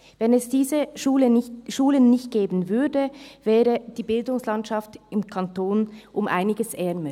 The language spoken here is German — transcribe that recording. Wenn es diese Schulen nicht gäbe, wäre die Bildungslandschaft im Kanton um einiges ärmer.